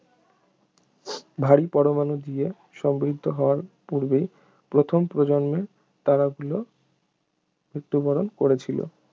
ভারী পরমাণু দিয়ে সমৃদ্ধ হওয়ার পূর্বেই প্রথম প্রজন্মের তারাগুলো মৃত্যুবরণ করেছিল